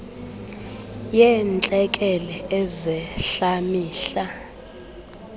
yeentlekele ezehla mihla